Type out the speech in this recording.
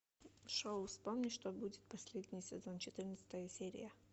шоу вспомни что будет последний сезон четырнадцатая серия